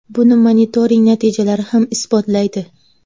Buni monitoring natijalari ham isbotlaydi.